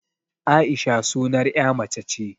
Aisha sunar 'ya mace ce